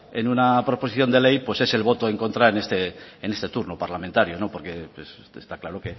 en una proposición de ley es el voto en contra en este turno parlamentario porque está claro